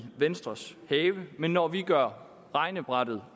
venstres have men når vi gør regnebrættet